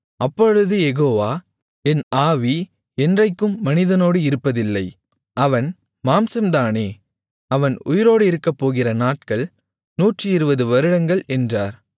அப்பொழுது யெகோவா என் ஆவி என்றைக்கும் மனிதனோடு இருப்பதில்லை அவன் மாம்சம்தானே அவன் உயிரோடு இருக்கப்போகிற நாட்கள் 120 வருடங்கள் என்றார்